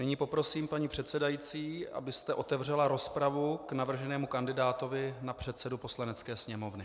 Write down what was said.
Nyní poprosím paní předsedající, abyste otevřela rozpravu k navrženému kandidátovi na předsedu Poslanecké sněmovny.